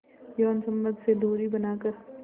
यौन संबंध से दूरी बनाकर